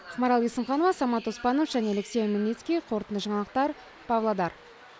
ақмарал есімханова самат оспанов және алексей омельницкий қорытынды жаңалықтар павлодар